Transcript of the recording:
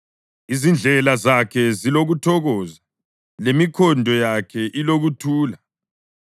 Izindlela zakhe zilokuthokoza, lemikhondo yakhe ilokuthula.